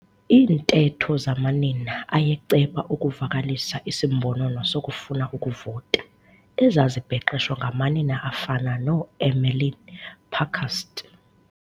iintetho zamanina ayeceba ukuvalisa isimbonono sokufuna ukuvota ezazibhexeshwa ngamanina afana noEmmeline Pankhurst.